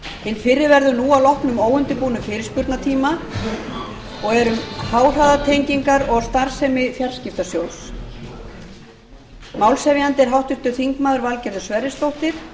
hinn fyrri verður nú að loknum óundirbúnum fyrirspurnatíma og er um háhraðatengingar og starfsemi í fjarskiptastjórn málshefjandi er háttvirtur þingmaður valgerður sverrisdóttir